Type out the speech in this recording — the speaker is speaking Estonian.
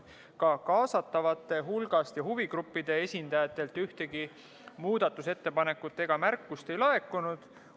Ka kaasatavate hulgast ja huvigruppide esindajatelt ühtegi muudatusettepanekut ega märkust ei laekunud.